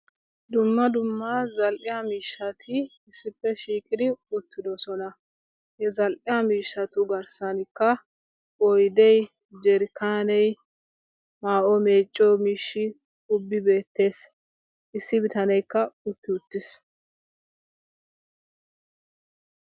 dumma dumma zal'iya miishshati issippe shiiqidi beetoosona. ha zal'iya mishshatu garsaanikka oydee, jarkkaanee maayuwa meeciyo miishshay issippe beetees. issi bitaneekka beetees.